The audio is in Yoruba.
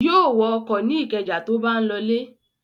Yóò wọ ọkọ̀ ní Ìkẹjà tó bá ń lọlé.